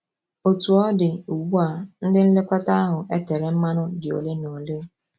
Otú ọ dị, ugbu a, ndị nlekọta ahụ e tere mmanụ dị ole na ole.